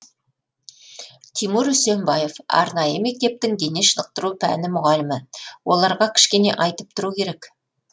тимур үсенбаев арнайы мектептің дене шынықтыру пәні мұғалімі оларға кішкене айтып тұру керек